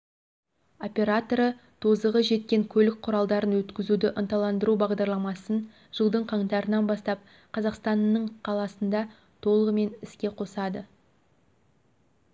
операторы тозығы жеткен көлік құралдарын өткізуді ынталандыру бағдарламасын жылдың қаңтарынан бастап қазақстанның қаласында толығымен іске қосады